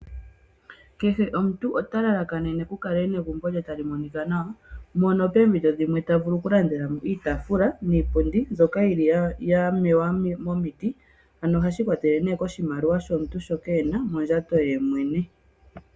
Kehe omuntu ota lalakanene, opo egumbo lye lyikale tali monika nawa mpono poompito odhindji tavulu oku landela mo iitaafula niipundi mbyoka yili ya mewa momiti. Ano ohashi ikwatelele koshimaliwa shoka omuntu ena mondjato ye mwene.